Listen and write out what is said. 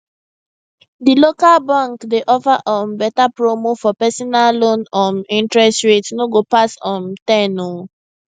di local bank dey offer um beta promo for personal loan um interest rate no go pass um ten oh